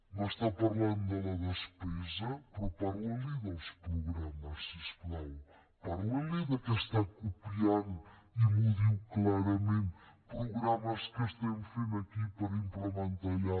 m’està parlant de la despesa però parla li dels programes si us plau parla li que està copiant i m’ho diu clarament programes que estem fent aquí per implementar los allà